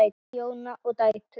Gísli, Jóna og dætur.